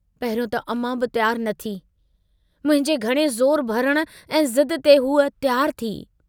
पहिरियों त अमां बि तियारु न थी, मुंहिंजे घणे ज़ोर भरण ऐं ज़िद ते हूअ तियारु थी।